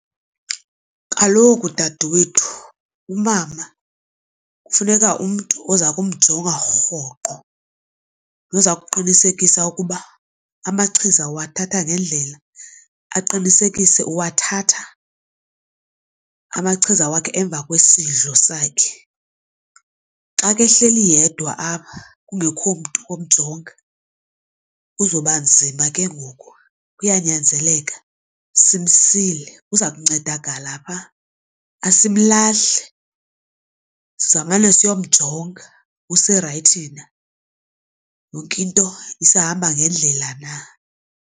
Kaloku dadewethu umama kufuneka umntu oza kumjonga rhoqo noza kuqinisekisa ukuba amachiza uwathatha ngendlela. Aqinisekise uwathatha amachiza wakhe emva kwesidlo sakhe. Xa ke ehleli yedwa apha kungekho mntu womjonga kuzoba nzima ke ngoku. Kuyanyanzeleka simsile kuba uza kuncedakala pha. Asimlahli sizawumane siyomjonga userayithi na yonke into isahamba ngendlela na.